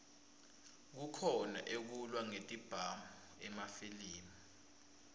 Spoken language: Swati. kukhona ekulwa ngetibhamu emafilimi